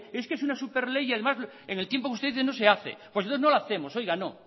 es una superley y además en el tiempo de ustedes no se hace pues entonces no lo hacemos oiga no